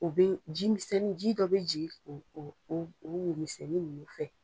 O bɛ ji misɛnnin ji dɔ bɛ ji o o o wo misɛnni nunnu fɛ.